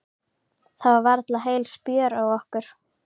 Það var varla heil spjör á okkur.